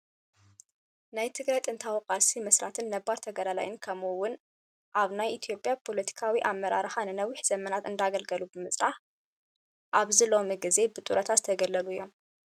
ናይ ትግራይ ዕጥቃዊ ቃልሲ መስራትን ነባር ተጋዳላይን ከምኡ እውን አብ ናይ አትዮጵያ ፖለቲካዊ አመራርሓ ንነዊሕ ዘመናት እንዳአገልገሉ ብምፅናሕ ኣብዚ ሎሚ ግዜ ብጥሮታ ዝተገለሉ እዮም።